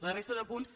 la resta de punts